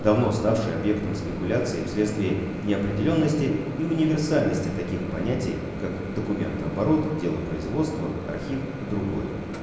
давно ставший объектом спекуляций и вследствие неопределённости и универсальности таких понятий как документооборот делопроизводство архив и другое